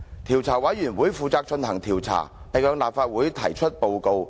調查委員會負責進行調查，並向立法會提出報告。